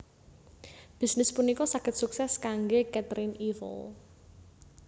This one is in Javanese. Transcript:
Bisnis punika saged suksès kanggé Caterine Eiffel